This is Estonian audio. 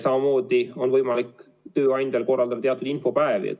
Samamoodi on võimalik tööandjal korraldada infopäevi.